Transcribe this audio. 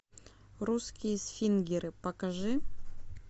русские свингеры покажи